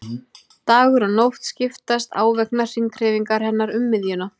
Dagur og nótt skiptast á vegna hringhreyfingar hennar um miðjuna.